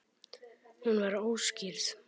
Hún var óskírð.